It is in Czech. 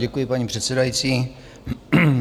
Děkuji, paní předsedající.